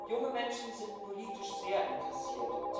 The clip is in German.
Junge Menschen sind politisch sehr interessiert